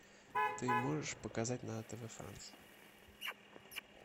ты можешь показать на тв франс